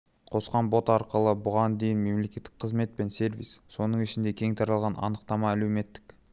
қосқан бот арқылы бұған дейін мемлекеттік қызмет пен сервис соның ішінде кең таралған анықтама әлеуметтік